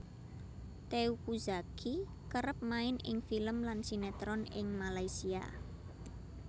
Teuku Zacky kerep main ing film lan sinetron ing Malaysia